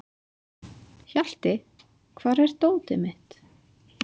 Hjalti, hvar er dótið mitt?